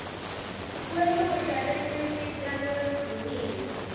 kweluhla lwetinsita loluvunyiwe